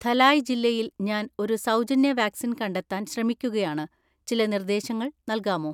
ധലായ് ജില്ലയിൽ ഞാൻ ഒരു സൗജന്യ വാക്സിൻ കണ്ടെത്താൻ ശ്രമിക്കുകയാണ്, ചില നിർദ്ദേശങ്ങൾ നൽകാമോ?